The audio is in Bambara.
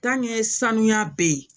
sanuya bɛ ye